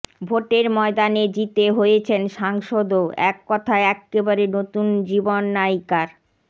ভোটের ময়দানে জিতে হয়েছেন সাংসদও এককথায় এক্কেবারে নতুন জীবন নায়িকার